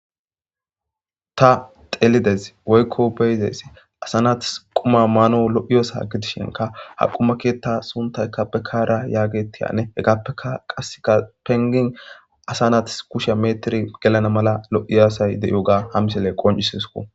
Ta telides woykko beyzessi asa natis quma maano lo'iyosa gidishenka haqumaketa suntayka pekaara yaagetiyane hegappeka qasseka pengin asa nati kusha metir gelana mala lo'i aasay de'iyo ga ha misele qoncisesko.